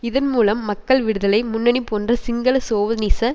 இதன் மூலம் மக்கள் விடுதலை முன்னணி போன்ற சிங்கள சோவனிச